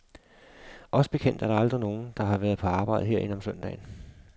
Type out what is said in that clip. Os bekendt er der aldrig nogen, der har været på arbejde herinde om søndagen.